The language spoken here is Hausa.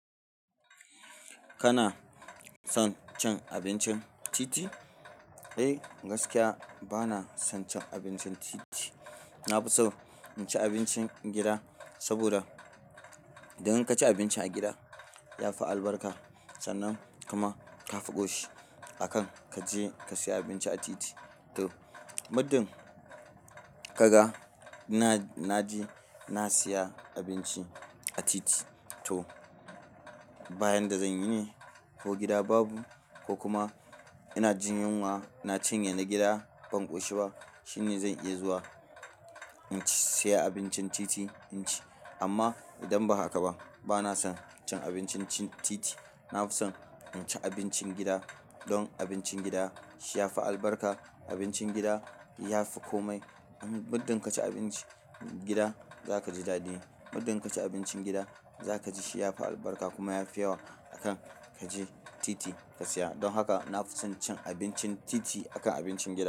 Kana son cin abincin titi? Eh, gaskiya ba na son cin abincin titi. Na fi so in ci abincin gida saboda idan kaci abinci a gida ya fi albarka sannan kuma ka fi ƙoshi akan kaje ka siya abinci a titi. To, muddin kaga na na je na siya abinci a titi, to bayan da zan yi ne ko gida babu ko kuma ina jin yunwa na cinye na gida ban ƙoshi ba, shine zan iya zuwa in siya abincin titi in ci. Amma idan ba haka ba, ba na son cin abincin titi. Na fi son in ci abincin gida don abincin gida shi ya fi albarka. Abincin gida ya fi komai muddin kaci abinci gida zaka ji daɗi. Muddin kaci abincin gida zaka ji shi ya fi albarka kuma ya fi yawa akan kaje titi ka siya. Don haka na fi son cin abincin titi akan abincin gida.